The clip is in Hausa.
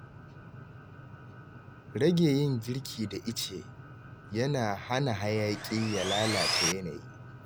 Rage yin girki da ice yana hana hayaƙi ya lalata yanayi